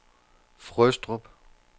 Frøstrup